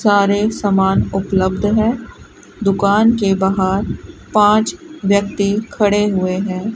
सारे समान उपलब्ध है दुकान के बाहर पांच व्यक्ति खड़े हुए है।